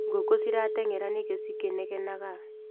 Ngũkũ ciratengera nĩkĩ cikĩnegenaga.